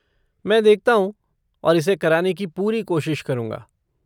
मैं देखता हूँ और इसे कराने की पूरी कोशिश करूँगा।